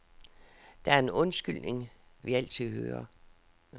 Der er en undskyldning, vi altid hører.